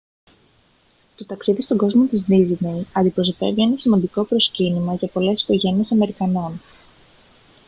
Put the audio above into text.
το ταξίδι στον κόσμο της ντίσνεϊ αντιπροσωπεύει ένα σημαντικό προσκύνημα για πολλές οικογένειες αμερικανών